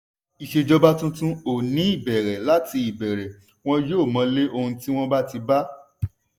ìṣèjọba tuntun ò ní bẹ̀rẹ̀ láti ìbẹ̀rẹ̀ wọn yóò mọlé ohun tí wọ́n ti bá.